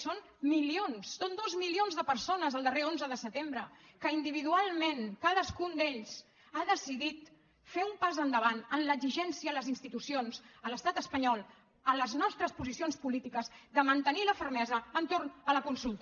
són milions són dos milions de persones el darrer onze de setembre que individualment cadascun d’ells ha decidit fer un pas endavant en l’exigència a les institucions a l’estat espanyol a les nostres posicions polítiques de mantenir la fermesa entorn de la consulta